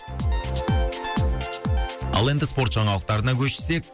ал енді спорт жаңалықтарына көшсек